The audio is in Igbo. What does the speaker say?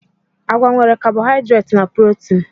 Agwa nwere kabohaidreti na protin.